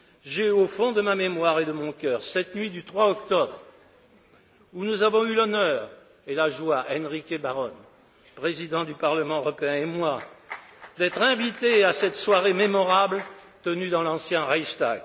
J'ai au fond de ma mémoire et de mon cœur cette nuit du 3 octobre, où nous avons eu l'honneur et la joie Enrique Báron, Président du Parlement européen, et moi d'être invités à cette soirée mémorable tenue dans l'ancien Reichstag.